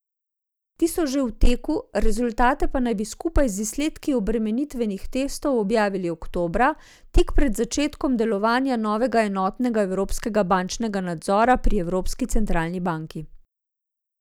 Ti so že v teku, rezultate pa naj bi skupaj z izsledki obremenitvenih testov objavili oktobra, tik pred začetkom delovanja novega enotnega evropskega bančnega nadzora pri Evropski centralni banki.